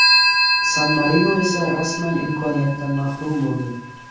San-Marino esa rasman imkoniyatdan mahrum bo‘ldi.